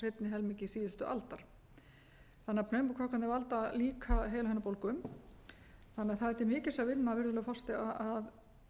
helmingi síðustu aldar pneumókokkarnir valda því líka heilahimnubólgu þannig að það er til mikils að vinna virðulegur forseti að